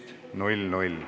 Head kolleegid!